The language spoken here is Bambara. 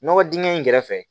Nɔgɔ dingɛ in kɛrɛfɛ